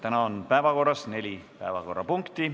Meil on neli päevakorrapunkti.